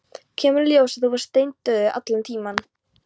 Kemur í ljós að þú varst steindauður allan tímann.